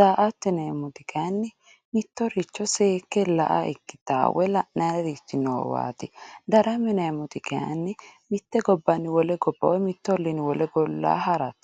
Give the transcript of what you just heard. daa"atto yineemmoti kayinni mittoricho seekke la"a ikkittawo woyi la'nannirichi noowati darama yineemmoti kayinni mite gobbanni wole gobba woyi mitu ollinni wole olla harate.